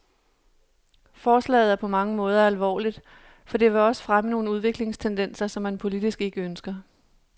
Forslaget er på mange måder alvorligt, for det vil også fremme nogle udviklingstendenser, som man politisk ikke ønsker.